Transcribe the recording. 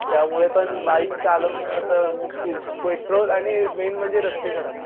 त्यामुळे पण बाईक चालवणं तर मुश्किल पेट्रोल आणि मेन म्हणजे रस्ते खराब